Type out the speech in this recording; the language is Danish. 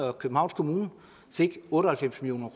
at københavns kommune fik otte og halvfems million